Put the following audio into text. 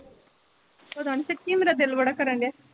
ਪਤਾ ਨੀ ਸੱਚ ਮੇਰਾ ਦਿਲ ਬੜਾ ਕਰਨ ਡੇਆ।